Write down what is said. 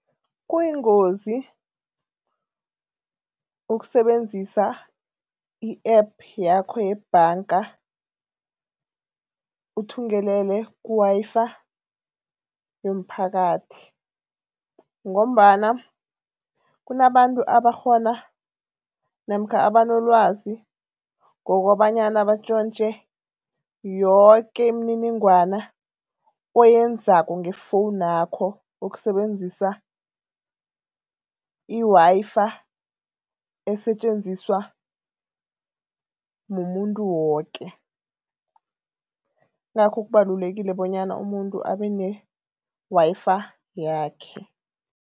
Kuyingozi ukusebenzisa i-App yakho yebhanga uthungelele ku-Wi-Fi yomphakathi ngombana kunabantu abakghona namkha abanolwazi ngokobanyana batjontje yoke imininingwana oyenzako ngefowunu yakho ukusebenzisa i-Wi-Fi esetjenziswa mumuntu woke, yingakho kubalulekile bonyana umuntu abe ne-Wi-Fi yakhe.